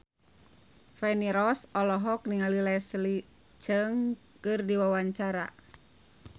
Feni Rose olohok ningali Leslie Cheung keur diwawancara